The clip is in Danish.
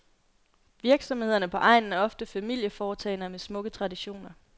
Virksomhederne på egnen er ofte familieforetagender med smukke traditioner.